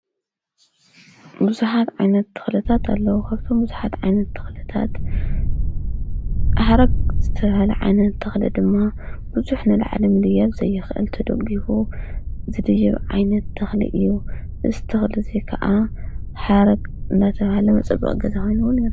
ብዙኃት ዓይነት ትኽለታት ኣለዉ፡፡ ካብቶም ብዙኃት ዓይነት ኽለታት ሓረግ ዝተሃለ ዓይነት ተኽሊ ድማ ብዙሕ ንላዕሊ ክድይብ ዘይኽአል ተደጊፉ ዝድይብ ዓይነት ተኽሊ እዩ፡፡ እዚ ትኽሊ እዙይ ከዓ ሓረግ እናተብሃለ መጸበቒ ገዛ ኾይኑ ዉን ይረአ/ይረአሎ፡፡